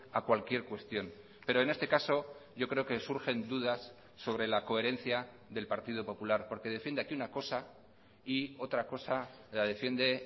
a cualquier cuestión pero en este caso yo creo que surgen dudas sobre la coherencia del partido popular porque defiende aquí una cosa y otra cosa la defiende